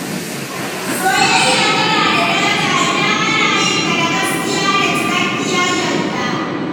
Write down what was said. Soyayya tana da daraja idan ana yin ta da gaskiya da cikakkiyar yarda.